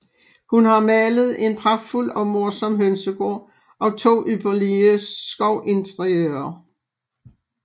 Hun har malet en pragtfuld og morsom Hønsegaard og to ypperlige Skovinteriører